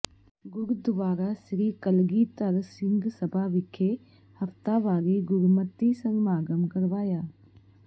ਗੁਰਦੁਆਰਾ ਸ੍ਰੀ ਕਲਗੀਧਰ ਸਿੰਘ ਸਭਾ ਵਿਖੇ ਹਫ਼ਤਾਵਾਰੀ ਗੁਰਮਤਿ ਸਮਾਗਮ ਕਰਵਾਇਆ